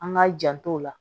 An k'a janto o la